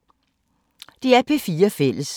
DR P4 Fælles